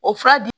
O fura di